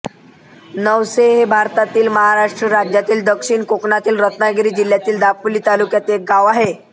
नवसे हे भारतातील महाराष्ट्र राज्यातील दक्षिण कोकणातील रत्नागिरी जिल्ह्यातील दापोली तालुक्यातील एक गाव आहे